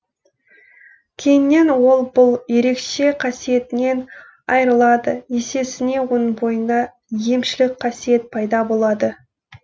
кейіннен ол бұл ерекше қасиетінен айырылады есесіне оның бойында емшілік қасиет пайда болады